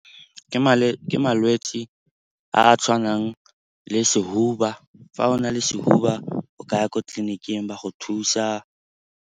Ke malwetse a a tshwanang le sehuba. Fa o na le sehuba o ka ya ko tleliniking ba go thusa.